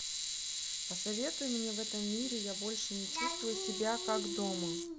посоветуй мне в этом мире я больше не чувствую себя как дома